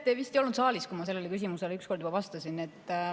Te vist ei olnud saalis, kui ma sellele küsimusele üks kord juba vastasin.